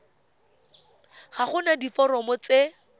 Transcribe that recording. ga go na diforomo tse